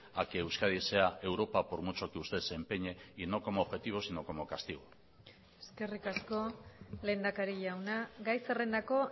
a que euskadi sea europa por mucho que usted se empeñe y no como objetivo sino como castigo eskerrik asko lehendakari jauna gai zerrendako